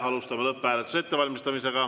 Alustame lõpphääletuse ettevalmistamist.